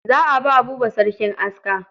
Za a ba Buba sarkin aska.